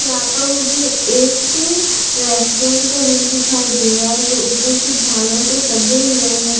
यहां पर मुझे एक रेस्टोरेंट का रूम दिखाई दे रहा है जो ऊपर कुछ झालर से सजे हुए हैं।